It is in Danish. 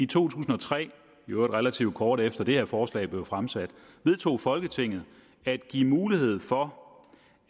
tusind og tre i øvrigt relativt kort efter at det her forslag blev fremsat vedtog folketinget at give mulighed for